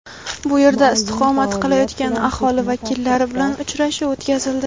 bu yerda istiqomat qilayotgan aholi vakillari bilan uchrashuv o‘tkazildi.